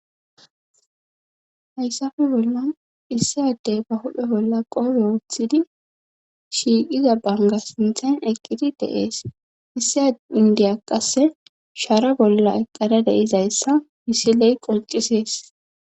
hayssafe bolla issadey ba hudhe bolla qobe wooothidi shiiqiza banga sinthan eqqidi deees issa indiya qasse shaara bolla eqqada deizayssa isiley qoncisees